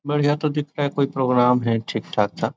बढ़िया तो दिख रहा है कोई प्रोग्राम है ठीक-ठाक था।